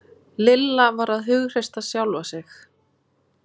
Lilla var að hughreysta sjálfa sig.